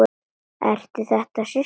Eru þetta systur þínar?